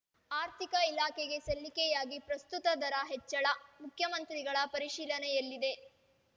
ಆರ್ಥಿಕ ಇಲಾಖೆಗೆ ಸಲ್ಲಿಕೆಯಾಗಿ ಪ್ರಸ್ತುತ ದರ ಹೆಚ್ಚಳ ಮುಖ್ಯಮಂತ್ರಿಗಳ ಪರಿಶೀಲನೆಯಲ್ಲಿದೆ